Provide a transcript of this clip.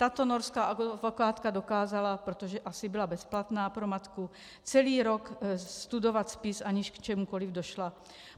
Tato norská advokátka dokázala, protože asi byla bezplatná pro matku, celý rok studovat spis, aniž k čemukoli došla.